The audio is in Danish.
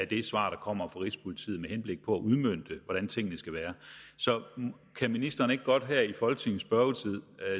det svar der kommer fra rigspolitiet med henblik på at udmønte hvordan tingene skal være så kan ministeren ikke godt her i folketingets spørgetid